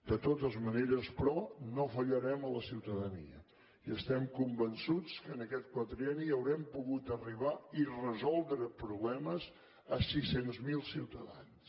de totes maneres però no fallarem a la ciutadania i estem convençuts que en aquest quadrienni haurem pogut arribar i resoldre problemes a sis cents miler ciutadans